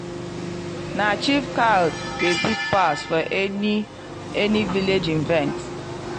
na chief cow dey big pass for any any village event.